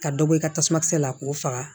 Ka dɔ bɔ i ka tasuma kisɛ la k'o faga